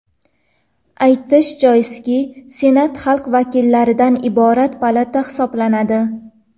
Aytish joizki, Senat xalq vakillaridan iborat palata hisoblanadi.